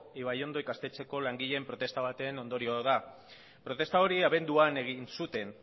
ibaiondo ikastetxeko langileen protesta baten ondorio da protesta hori abenduan egin zuten